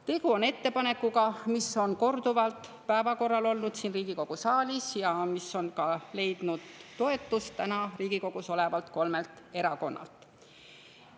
Tegu on ettepanekuga, mis on korduvalt siin Riigikogu saalis päevakorral olnud ja mis on ka leidnud toetust praegu Riigikogus olevalt kolmelt erakonnalt.